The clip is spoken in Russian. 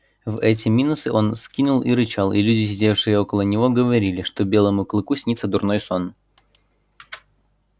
в эти минусы он скинул и рычал и люди сидевшие около него говорили что белому клыку снится дурной сон